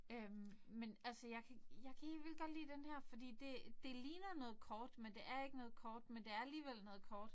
Øh men altså jeg jeg kan helt vildt godt lide den her fordi det det ligner noget kort men det er ikke noget kort men det er alligevel noget kort